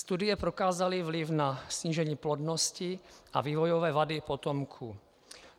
Studie prokázaly vliv na snížení plodnosti a vývojové vady potomků.